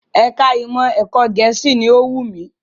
Ẹ̀ka ìmọ̀ ẹ̀kọ́ Gẹ̀ẹ́sì ni ó wù mí